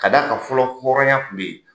Ka da kan fɔlɔ hɔrɔnya kun be yen.